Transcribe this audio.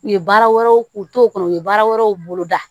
U ye baara wɛrɛw k'u to kɔnɔ u ye baara wɛrɛw bolo da